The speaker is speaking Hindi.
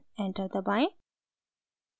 enter दबाएं